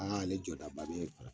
Aa ale jɔdaba ye kala